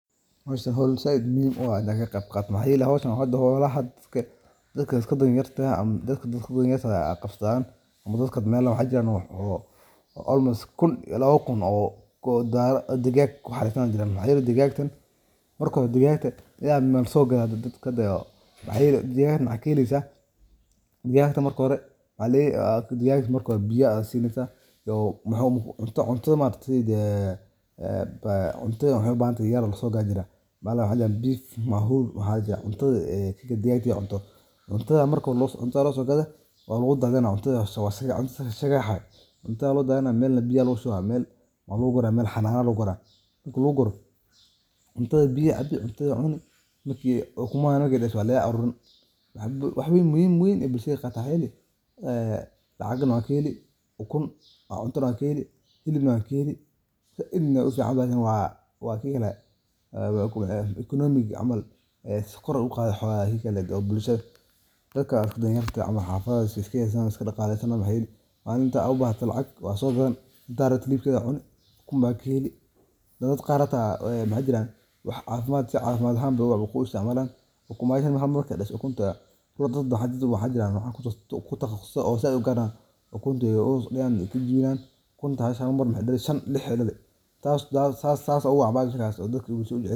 Ukuntu waa cunto aad u nafaqo badan oo laga helo digaagga, waxaana si gaar ah muhiim u ah qaybta huruudda ah oo hodan ku ah borotiinka, fiitamiinada, iyo macdanta. Marka la digayo ukunta, waxaa muhiim ah in si taxaddar leh loo sameeyo si ay u ahaato mid si fiican u bislaatay isla markaana u dhadhan fiican. Marka hore, ukunta waa in si fiican loo jabiyo oo lagu shubaa digsiga marka saliidda ama subagga la kululeeyo. Waxaa muhiim ah in dabka la dhigo meel dhexdhexaad ah si aysan ukuntu u gubin. Inta lagu jiro digista, ukunta waxaa lagu walaaqaa si tartiib ah, iyadoo lagu saleynayo nooca la doonayo .